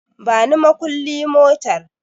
Bani makulli motar